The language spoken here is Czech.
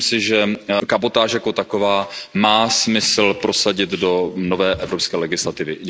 Myslím si, že kabotáž jako takovou má smysl prosadit do nové evropské legislativy.